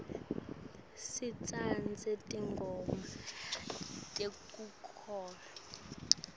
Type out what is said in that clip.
sitsandza tingoma tekukholwa